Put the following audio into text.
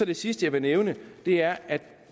det sidste jeg vil nævne er at